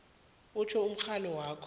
utjho umrholo wakho